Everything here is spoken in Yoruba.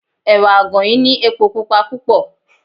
Ẹ̀wà àgànyìn ní epo Pupa púpọ̀.